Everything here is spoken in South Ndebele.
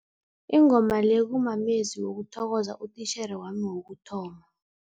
Ingoma le kumamezwi wokuthokoza utitjhere wami wokuthoma.